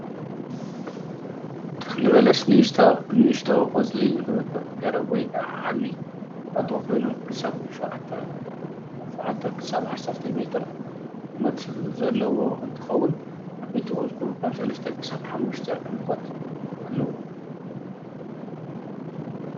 ተኽሊ በለስ ንእሽቶ ቆፅሊ ዝወድቅ ገረብ ወይ ከዓ ዓብዩ ቁጥቋጦ ኾይኑ ካብ ሸውዓተ ክሳብ ዓሰርተ ሜትር ዘለዎ እንትኸውን ዓቦይቲ ቆፆሉ ካብ ሰለስተ ክሳብ ሓሙሽተ ዕምቆት ኣለዎም።